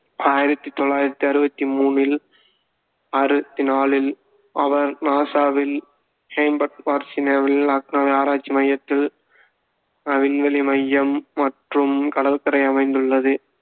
ஆயிரத்தி தொள்ளாயிரத்தி அறுவத்தி மூணில் அறுபத்தி நாலில் அவர் நாசாவில் ஹாம்ப்டன் வர்ஜீனியாவில் லாங்க்லியின் ஆராய்ச்சி மையத்தில் விண்வெளி மையம் மற்றும் கடற்கரை அமைந்துள்ளது